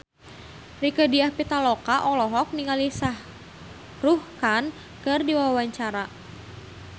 Rieke Diah Pitaloka olohok ningali Shah Rukh Khan keur diwawancara